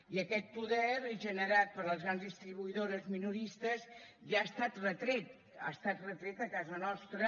i aquest poder generat per les grans distribuïdores minoristes ja ha estat retret ha estat retret a casa nostra